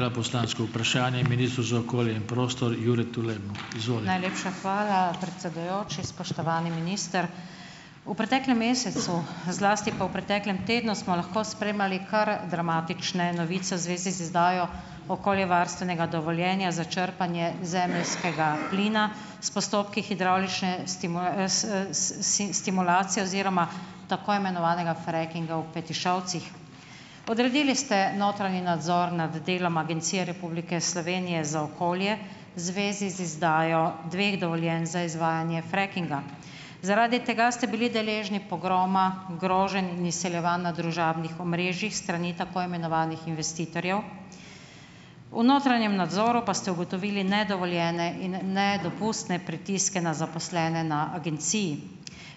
Najlepša hvala, predsedujoči. Spoštovani minister! V preteklem mesecu, zlasti pa v preteklem tednu, smo lahko spremljali kar dramatične novice v zvezi z izdajo okoljevarstvenega dovoljenja za črpanje zemeljskega plina s postopki hidravlične stimulacije oziroma tako imenovanega frackinga v Petišovcih. Odredili ste notranji nadzor nad delom Agencije Republike Slovenije za okolje zvezi z izdajo dveh dovoljenj za izvajanje frackinga. Zaradi tega ste bili deležni pogroma, groženj in izsiljevanj na družabnih omrežjih s strani tako imenovanih investitorjev. V notranjem nadzoru pa ste ugotovili nedovoljene in nedopustne pritiske na zaposlene na agenciji.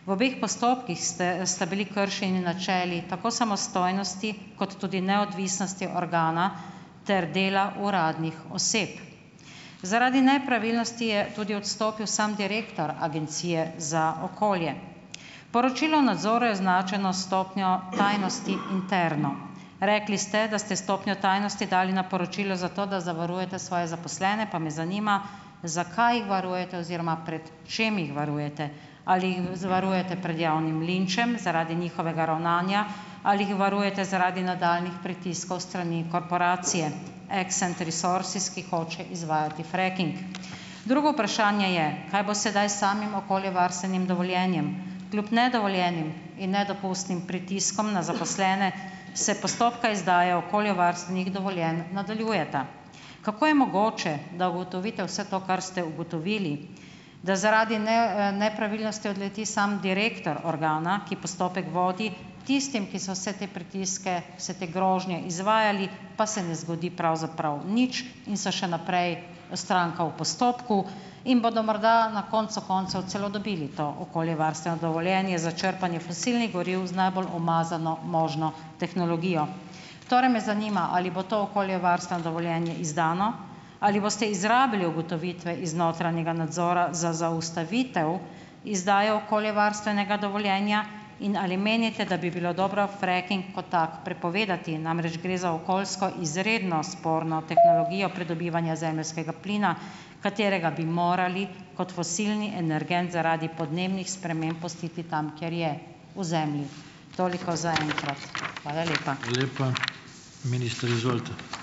V obeh postopkih ste sta bili kršeni načeli tako samostojnosti kot tudi neodvisnosti organa ter dela uradnih oseb. Zaradi nepravilnosti je tudi odstopil sam direktor agencije za okolje. Poročilo nadzora je označeno s stopnjo tajnosti interno. Rekli ste, da ste stopnjo tajnosti dali na poročilo zato, da zavarujete svoje zaposlene, pa me zanima zakaj jih varujete oziroma pred čim jih varujete, ali jih zavarujete prej javnim linčem zaradi njihovega ravnanja ali jih varujete zaradi nadaljnjih pritiskov s strani korporacije Accent resources, ki hoče izvajati fracking. Drugo vprašanje je, kaj bo sedaj s samim okoljevarstvenim dovoljenjem. Kljub nedovoljenim in nedopustnim pritiskom na zaposlene se postopka izdaje okoljevarstvenih dovoljenj nadaljujeta. Kako je mogoče, da ugotovite vse to, kar ste ugotovili, da zaradi nepravilnosti odleti samo direktor organa, ki postopek vodi, tistim, ki so vse te pritiske, vse te grožnje izvajali, pa se ne zgodi pravzaprav nič in so še naprej, stranka v postopku in bodo morda na koncu koncev celo dobili to okoljevarstveno dovoljenje za črpanje fosilnih goriv z najbolj umazano možno tehnologijo. Torej me zanima, ali bo to okoljevarstveno dovoljenje izdano, ali boste izrabili ugotovitve iz notranjega nadzora za zaustavitev izdaje okoljevarstvenega dovoljenja in ali menite, da bi bilo dobro fracking kot tak prepovedati, namreč gre za okoljsko izredno sporno tehnologijo pridobivanja zemeljskega plina, katerega bi morali kot fosilni energent zaradi podnebnih sprememb pustiti tam, kjer je, v zemlji. Toliko za enkrat. Hvala lepa.